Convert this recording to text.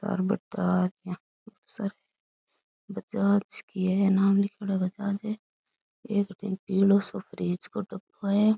और बजाज की है नाम लिख्योड़ो है बजाज है एक बीन पीलो सो फ्रीज को डब्बो है।